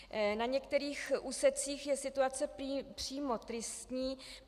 Na některých úsecích je situace přímo tristní.